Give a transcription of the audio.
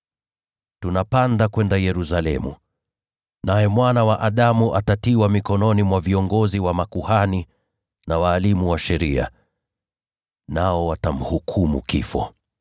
“Tunapanda kwenda Yerusalemu, na Mwana wa Adamu atatiwa mikononi mwa viongozi wa makuhani na walimu wa sheria. Nao watamhukumu kifo